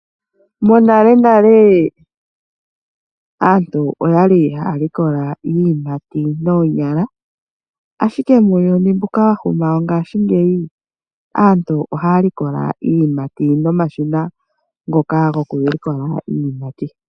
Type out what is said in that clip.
Monalenale aantu oya li haya likola iiyimati noonyala, ashike muuyuni mbuka wa huma wongashingeyi aantu ohaya likola iiyimati nomashina ngoka gokulikola iiyimati.